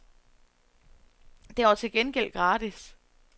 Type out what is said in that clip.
Den var til gengæld gratis.